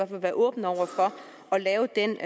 vil være åbne over for at lave den